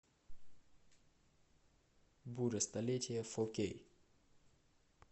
буря столетия фо кей